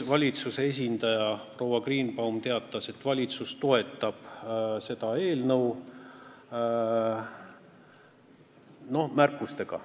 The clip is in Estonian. Valitsuse esindaja proua Greenbaum teatas, et valitsus toetab seda eelnõu, noh, märkustega.